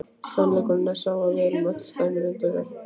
Sannleikurinn er sá að við erum öll slæmir Indverjar.